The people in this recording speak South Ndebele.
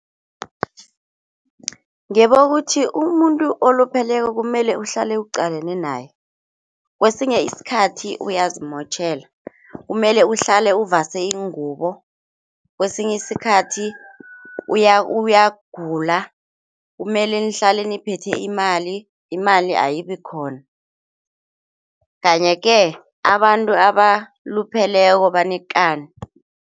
Ngibona ukuthi umuntu olupheleko kumele uhlale uqalane naye, kwesinye isikhathi uyazimotjhela kumele uhlale uvase iingubo, kwesinye isikhathi uyagula kumele nihlale niphethe imali, imali ayibikhona kanye-ke abantu abalupheleko banekani.